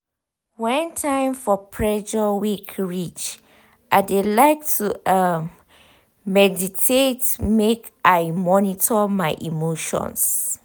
when time for pressure week reach i de like to um meditate make i monitor my emotions. um